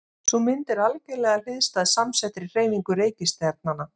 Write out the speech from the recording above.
Sú mynd er algerlega hliðstæð samsettri hreyfingu reikistjarnanna.